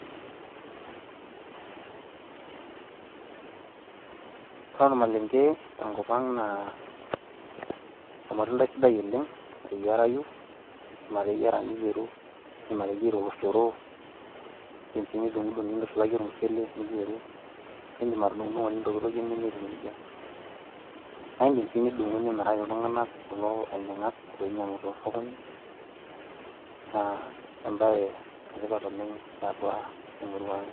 ore ormalenke tenkop ang naa olmatundai sidai oleng loyiarayu, idim atayiara oloshoro, idim sii nidung; idung nintushulaki ormusshule, niyieru. naa idim atudung'idung'o nintokitokie ninyia etiu nejia. naa idim sii nimiru nimiraki kulo tunganak ainyiangak ooinyiangu tosokoni naa ebae etipat oleng tiatua emurua ang.